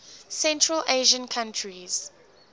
central asian countries